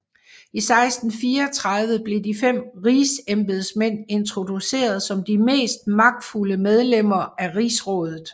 I 1634 blev de fem Rigsembedsmænd introduceret som de mest magtfulde medlemmer af Rigsrådet